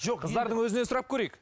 жоқ қыздардың өзінен сұрап көрейік